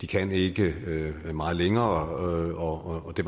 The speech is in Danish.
kan ikke meget længere og det